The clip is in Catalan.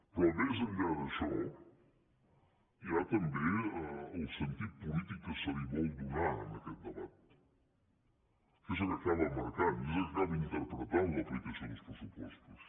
però més enllà d’això hi ha també el sentit polític que se li vol donar a aquest debat que és el que acaba marcant i és el que acaba interpretant l’aplicació dels pressupostos